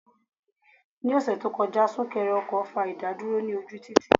Ní ọ̀sẹ̀ tó kọjá, súnkẹrẹ ọkọ̀ fa ìdádúró ní ojú títì.